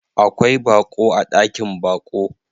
Akwai baƙo a ɗakin baƙo.